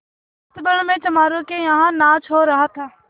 अस्तबल में चमारों के यहाँ नाच हो रहा था